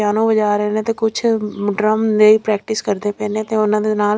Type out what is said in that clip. piano ਵਜਾ ਰਹੇ ਨੇ ਤੇ ਕੁਝ ਡ੍ਰਮ ਦੇ ਪ੍ਰੈਕਟਿਸ ਕਰਦੇ ਪਏ ਨੇ ਤੇ ਉਹਨਾਂ ਦੇ ਨਾਲ--